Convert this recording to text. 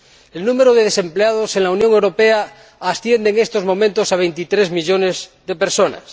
El número de desempleados en la Unión Europea asciende, en estos momentos, a 23 millones de personas.